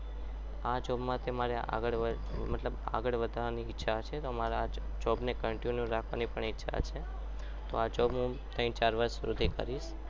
આ job માંથી મારે આગળ વધવાની ઈચ્છા છે મતલબ કે મારે આ જવાબને continue રાખવાની ઈચ્છા પણ છે આ જવાબ હું ત્યાંથી ચાર વર્ષ કરીશ